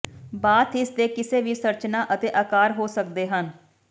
bath ਇਸਦੇ ਕਿਸੇ ਵੀ ਸੰਰਚਨਾ ਅਤੇ ਆਕਾਰ ਹੋ ਸਕਦੇ ਹਨ